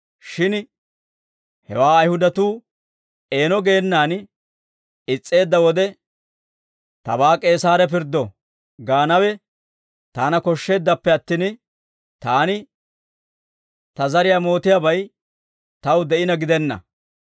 Shin hewaa Ayihudatuu eeno geenaan is's'eedda wode, ‹Tabaa K'eesaare pirddo› gaanawe taana koshsheeddappe attin, taani ta zariyaa mootiyaabay taw de'ina gidenna.